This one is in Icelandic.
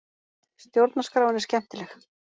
Stjórnarskráin er skemmtileg